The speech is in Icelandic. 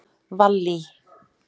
Vallý